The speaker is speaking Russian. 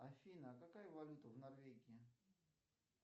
афина а какая валюта в норвегии